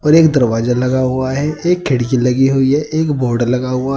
और एक दरवाजा लगा हुआ है। एक खिड़की लगी हुई है। एक बोर्ड लगा हुआ --